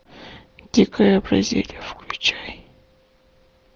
дикая бразилия включай